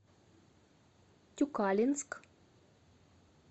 тюкалинск